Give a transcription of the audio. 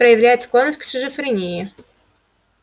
проявляет склонность к шизофрении